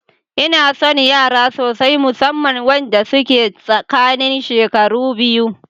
Inason yara sosai, musamman wanda suke tsakanin shekaru biyu.